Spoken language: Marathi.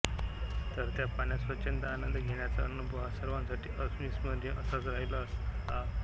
तर त्या पाण्यात स्वच्छंद आंनद घेण्याचा अणूभव हा सर्वांसाठी अर्विस्मरनिय असाच राहील असा असतो